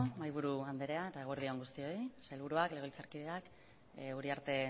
mahaiburu andrea eta eguerdi on guztioi sailburuak legebiltzarkideak uriarte